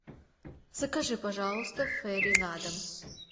закажи пожалуйста фейри на дом